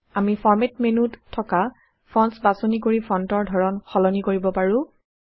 আমি ফৰমাত মেন্যুত থকা ফন্টছ বাচনি কৰি ফন্টৰ ধৰণ সলনি কৰিব পাৰো